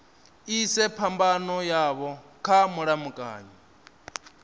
ise phambano yavho kha mulamukanyi